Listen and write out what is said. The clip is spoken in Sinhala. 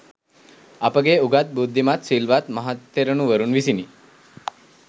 අපගේ උගත්, බුද්ධිමත්, සිල්වත් මහතෙරුණුවරුන් විසිනි.